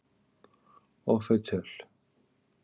Og þau töl